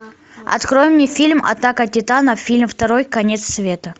открой мне фильм атака титанов фильм второй конец света